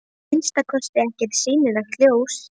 Að minnsta kosti ekkert sýnilegt ljós.